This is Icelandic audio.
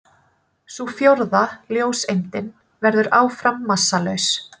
Sú fjórða, ljóseindin, verður áfram massalaus.